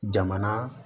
Jamana